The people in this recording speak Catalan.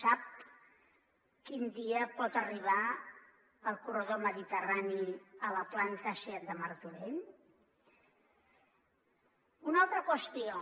sap quin dia pot arribar el corredor mediterrani a la planta seat de martorell una altra qüestió